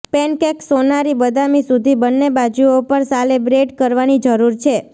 pancakes સોનારી બદામી સુધી બંને બાજુઓ પર સાલે બ્રેઙ કરવાની જરૂર છે